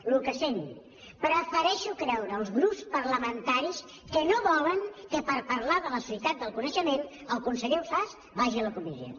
el que sent prefereixo creure que els grups parlamentaris no volen que per parlar de la societat del coneixement el conseller ausàs vagi a la comissió